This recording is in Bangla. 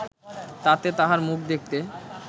তাতে তাঁহার মুখ দেখতে